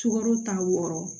Sukaro ta wɔɔrɔ